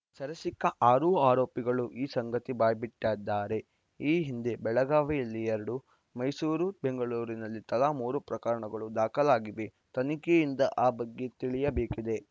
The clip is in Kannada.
ಸೆರೆ ಸಿಕ್ಕ ಆರು ಆರೋಪಿಗಳೂ ಈ ಸಂಗತಿ ಬಾಯಿಬಿಟ್ಟದ್ದಾರೆ ಈ ಹಿಂದೆ ಬೆಳಗಾವಿಯಲ್ಲಿ ಎರಡು ಮೈಸೂರು ಬೆಂಗಳೂರಲ್ಲಿ ತಲಾ ಮೂರು ಪ್ರಕರಣ ದಾಖಲಾಗಿವೆ ತನಿಖೆಯಿಂದ ಆ ಬಗ್ಗೆ ತಿಳಿಯಬೇಕಿದೆ